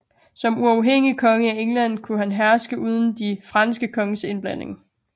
Som uafhængig konge af England kunne han herske uden de franske konges indblanding